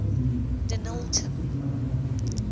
denillton